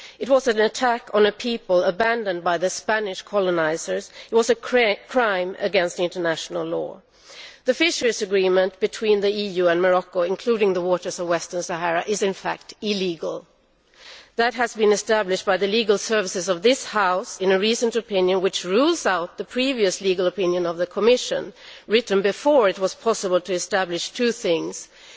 That was an attack on a people abandoned by their Spanish colonisers and was a contravention of international law. The fisheries agreement between the EU and Morocco, including the waters of the Western Sahara, is in fact illegal. This has been established by the legal services of this House in a recent opinion, which overrules the previous legal opinion of the Commission, which was written before it was possible to establish two things firstly,